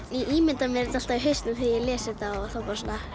ég ímynda mér þetta allt í hausnum þegar ég les þetta og þá